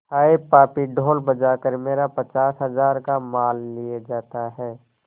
हाय पापी ढोल बजा कर मेरा पचास हजार का माल लिए जाता है